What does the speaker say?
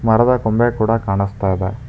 ಮರದ ಕೊಂಬೆ ಕೂಡ ಕಾಣಿಸ್ತಾ ಇದೆ.